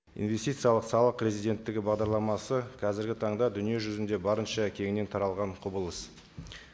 инвестициялық салық резиденттігі бағдарламасы қазіргі таңда дүниежүзінде барынша кеңінен таралған құбылыс